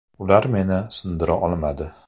Ular meni sindira olmadi.